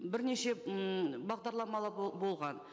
бірнеше ммм бағдарламалар болған